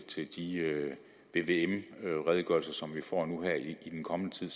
til de vvm redegørelser som vi får nu her i den kommende tid